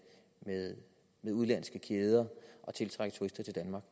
udenlandske kæder og tiltrække turister til danmark